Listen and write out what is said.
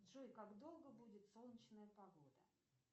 джой как долго будет солнечная погода